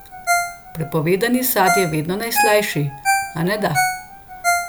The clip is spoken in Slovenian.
Prepovedani sad je vedno najslajši, aneda?